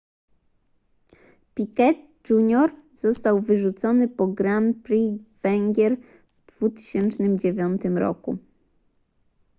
piquet jr został wyrzucony po grand prix węgier w 2009 roku